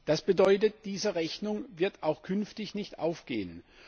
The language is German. Das bedeutet, diese Rechnung wird auch künftig nicht aufgehen.